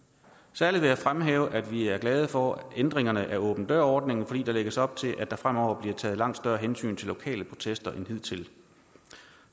særlig fremhæve at vi er glade for ændringerne af åben dør ordningen fordi der lægges op til at der fremover bliver taget langt større hensyn til lokale protester end hidtil